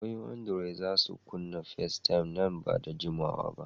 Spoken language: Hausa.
Wayoyin andiroi za su kunna Festaym nan ba da jimawa ba.